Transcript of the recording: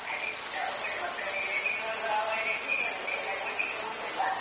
ಅದೇ ನಾವು ಕೂಡ ಮಕ್ಕಳಿಗೆ ರಜೆ ಇರುವಾಗ ಒಳ್ಳೇ ಖುಷಿ ಆಗುತ್ತೆ ಎಲ್ಲರೂ ಒಟ್ಟಿಗೆ ಹೋಗುದಲ್ವಾ?